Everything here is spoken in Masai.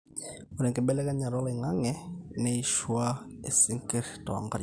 ore enkibelekenyata oloing'ang'e neishua isinkir toonkariak